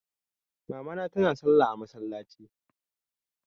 Mama tana salla a masallaci.